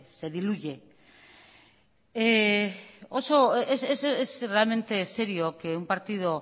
se diluye es realmente serio que un partido